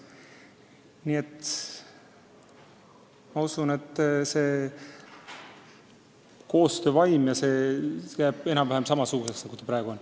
Nii et ma usun, et koostöövaim jääb enam-vähem samasuguseks, nagu see praegu on.